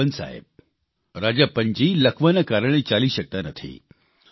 રાજપ્પન સાહેબ રાજપ્પનજી લકવાના કારણે ચાલી શકતા નથી